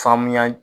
Faamuya